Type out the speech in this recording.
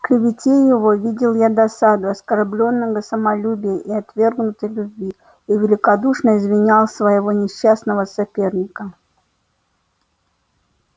в клевете его видел я досаду оскорблённого самолюбия и отвергнутой любви и великодушно извинял своего несчастного соперника